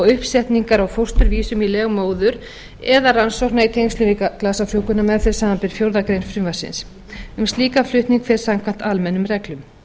uppsetningar á fósturvísum í leg móður eða rannsókna í tengslum við glasafrjóvgunarmeðferð samanber fjórðu grein frumvarpsins um slíkan flutning fer samkvæmt almennum reglum